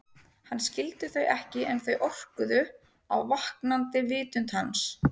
Hann skildi þau ekki en þau orkuðu á vaknandi vitund hans.